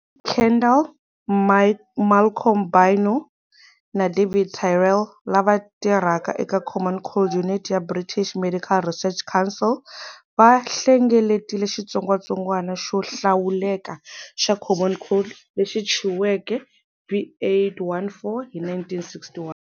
Kendall, Malcolm Bynoe, na David Tyrrell lava tirhaka eka Common Cold Unit ya British Medical Research Council va hlengeletile xitsongwatsongwana xo hlawuleka xa common cold lexi thyiweke B814 hi 1961.